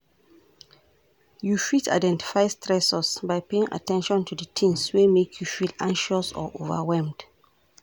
You fit identify stressors by paying at ten tion to di tings wey make you feel anxious or overwhelmed.